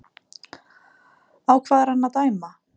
Á hvað er hann að dæma?